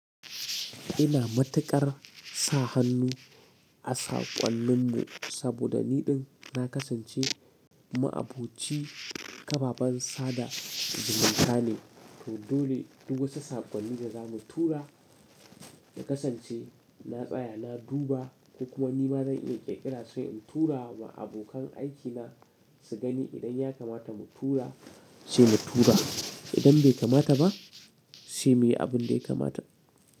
Ina matuƙar sa hannu a saƙonnin mu saboda niɗin na kasance ma'aboci ƙaɓaɓan sada zumunta ne. To dole duk wata saƙonni da za mu tura na kasance na tsaya, na duba ko kuma nima zan iya ƙirƙira sai in tura wa abokan aikina su gani. Idan ya kamata mu tura sai mu tura, idan bai kamata ba sai muyi abin da ya kamata.